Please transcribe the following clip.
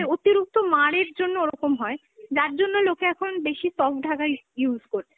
অতিরিক্ত মাড়ের জন্য ওরকম হয়, যার জন্য লোকে এখন বেশি soft ঢাকাই use করছে।